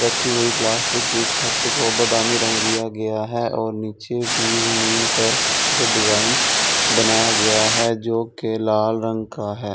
रखी गई प्लास्टिक की छत को बादामी रंग दिया गया है और नीचे भी जमीन पर खूबसूरत डिजाइन बनाया गया है जो के लाल रंग का है।